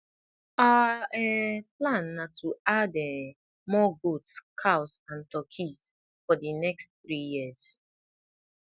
our um plan na to add um more goats cows and turkeys for the next three years